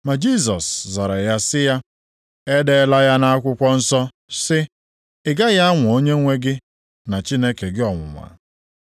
Ma Jisọs zara sị ya, “E deela ya nʼakwụkwọ nsọ sị, ‘Ị gaghị anwa Onyenwe gị na Chineke gị ọnwụnwa.’ + 4:7 Gụọkwa ya nʼakwụkwọ \+xt Dit 6:16\+xt*. ”